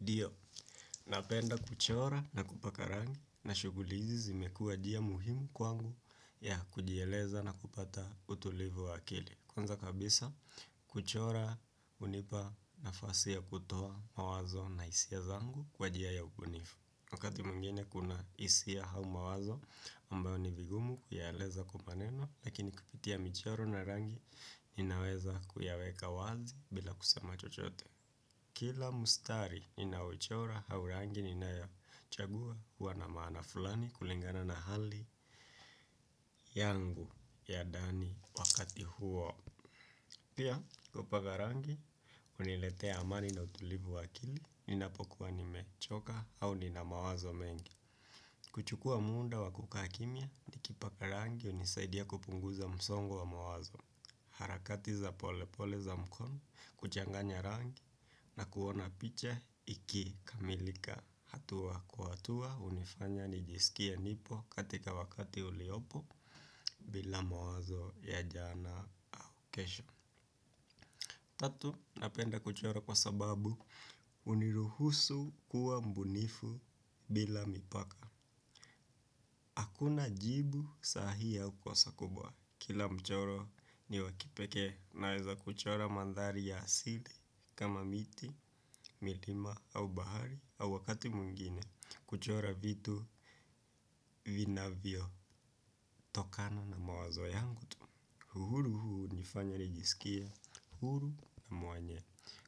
Ndio, napenda kuchora na kupaka rangi na shughuli hizi zimekuwa muhimu kwangu na kujieleza na kupata utulivu wa akili. Kwanza kabisa, kuchora hunipa nafasi ya kutoa mawazo na hisia zangu kwa njia ya ubunifu. Wakati mwingine kuna hisia au mawazo ambayo ni vigumu kuyaeleza kwa maneno, lakini kupitia michoro na rangi ninaweza kuyaweka wazi bila kusema chochote. Kila matari ninao uchora au rangi ninayo chagua huwa na maana fulani kulingana na hali yangu ya ndani wakati huo. Pia kupaka rangi uniletea amani na utulivu wa akili ninapokuwa nimechoka au nina mawazo mengi. Kuchukua muda wa kukaa kimya nikipaka rangi unisaidia kupunguza msongo wa mawazo. Harakati za polepole za mkono kuchanganya rangi na kuona picha ikikamilika hatua kwa hatua unifanya nijisikia nipo katika wakati uliopo bila mawazo ya jana au kesho. Tatu napenda kuchora kwa sababu uniruhusu kuwa mbunifu bila mipaka. Hakuna jibu sahihi au kosa kubwa, kila mchoro ni wa kipekee naweza kuchora mandhari ya asili kama miti, milima au bahari au wakati mwingine kuchora vitu vinavyotokana na mawazo yangu uhuru huu hunifanya nijisikie huru na mwenye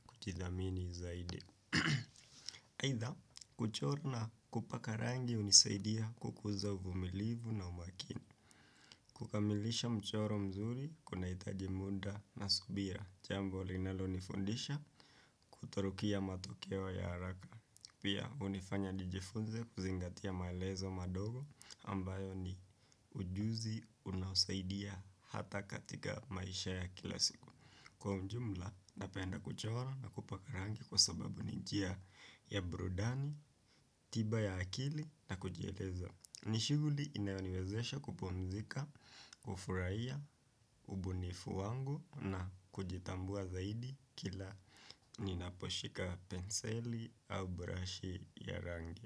kujithamini zaidi aidha kuchora na kupaka rangi hunisaidia kukuza uvumilivu na umakini. Kukamilisha mchoro mzuri kunahitaji muda na subira. Jambo linalonifundisha kutorukia matokeo ya haraka. Pia unifanya nijifunze kuzingatia maelezo madogo ambayo ni ujuzi unaosaidia hata katika maisha ya kila siku. Kwa mjumla napenda kuchora na kupaka rangi kwa sababu ni njia ya burudani tiba ya akili na kujieleza. Ni shughuli inayoniwezesha kupumzika, kufurahia, ubunifu wangu na kujitambua zaidi kila ninaposhika penseli au brashi ya rangi.